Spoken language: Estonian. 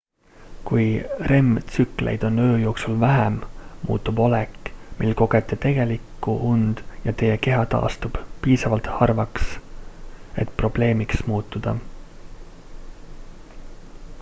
kui rem-tsükleid on öö jooksul vähem muutub olek mil kogete tegelikku und ja teie keha taastub piisavalt harvaks et probleemiks muutuda